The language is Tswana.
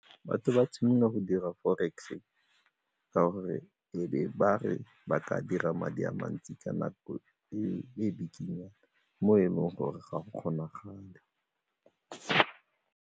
Batho ba thomile go dira forex ka gore e be ba re ba ka dira madi a mantsi ka nako e bikinyana mo e leng gore ga go kgonagale.